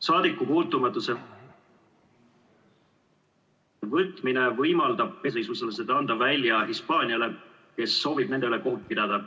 Saadikupuutumatuse võtmine võimaldab sisuliselt anda nad välja Hispaaniale, kes soovib nende üle kohut pidada.